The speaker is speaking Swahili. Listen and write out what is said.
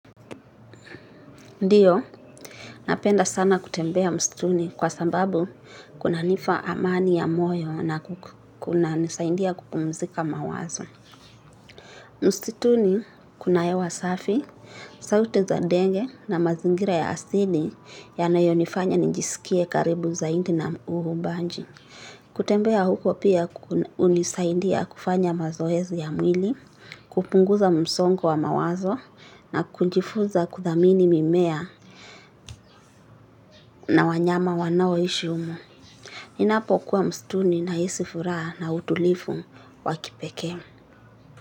Ndiyo, napenda sana kutembea msituni kwa sababu kunanipa amani ya moyo na kunanisaidia kupumzika mawazo. Msituni kuna hewa safi, sauti za ndege na mazingira ya asili yanayonifanya nijisikie karibu zaidi na uumbaji. Kutembea huko pia hunisaidia kufanya mazoezi ya mwili, kupunguza msongo wa mawazo na kujifunza kuthamini mimea na wanyama wanaoishi humo. Ninapo kuwa msituni nahisi furaha na utulivu wa kipekee.